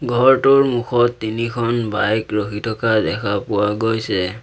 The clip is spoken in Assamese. ঘৰটোৰ মুখত তিনিখন বাইক ৰখি থকা দেখা পোৱা গৈছে।